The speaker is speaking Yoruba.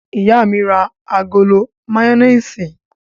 Ìyá mi ra agolo mayonnaise?